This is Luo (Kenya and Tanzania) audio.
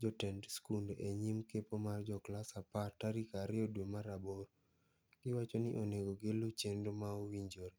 jotend skunde e nyim kepo mar joklas apar tarik ario dwe mar aboro. Giwacho ni onego giluu chenro maowinjore.